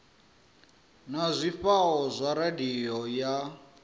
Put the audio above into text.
na zwifhao zwa radio ya